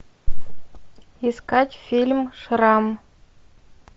искать фильм шрам